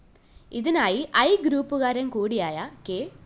ഇതിനായി ഐ ഗ്രൂപ്പുകാരന്‍ കൂടിയായ കെ